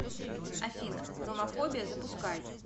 афина ромафобия запускай